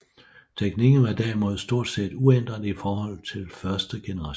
Teknikken var derimod stort set uændret i forhold til første generation